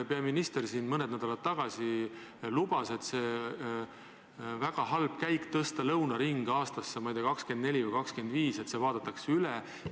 Peaminister siin mõned nädalad tagasi lubas, et on väga halb käik tõsta lõunaring, ma ei tea, aastasse 2024 või 2025 ja alles siis see üle vaadata.